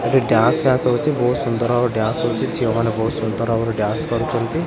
ଏହିଟି dance class ହଉଚି ବହୁତ ସୁନ୍ଦର ଭାବରେ ଡାନ୍ସ ହଉଚି ଝିଅ ମାନେ ବହୁତ ସୁନ୍ଦର ଭାବରେ ଡାନ୍ସ କରୁଛନ୍ତି।